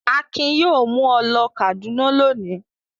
Akin yóò mú ọ ló Kàdúná lónìí!